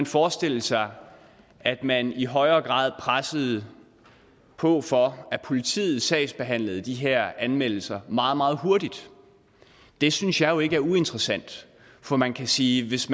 forestille sig at man i højere grad pressede på for at politiet sagsbehandlede de her anmeldelser meget meget hurtigt det synes jeg ikke er uinteressant for man kan sige at hvis